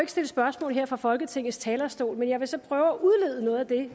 stille spørgsmål fra folketingets talerstol men jeg vil så prøve at udlede noget af det